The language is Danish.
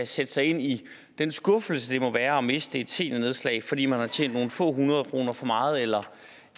sætte sig ind i den skuffelse det må være at miste et seniornedslag fordi man har tjent nogle få hundrede kroner for meget eller